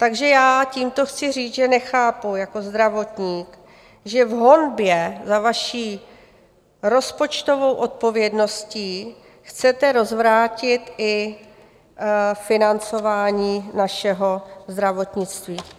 Takže já tímto chci říct, že nechápu jako zdravotník, že v honbě za vaší rozpočtovou odpovědností chcete rozvrátit i financování našeho zdravotnictví.